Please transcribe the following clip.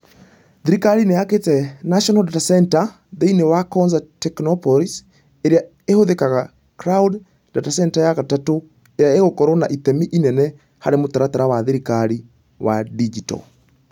Thirikari nĩ ĩakĩte National Data Centre thĩinĩ wa Konza Technopolis, ĩrĩa ĩhũthĩkaga cloud, data centre ya gatatũ, ĩrĩa ĩgakorũo na itemi inene harĩ mũtaratara wa thirikari wa digito.